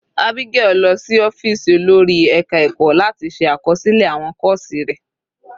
Abigail lọ sí ọ́fìsì olórí ẹka ẹ̀kọ́ láti ṣe àkọsílẹ̀ àwọn kọ́ọ̀sì rẹ̀.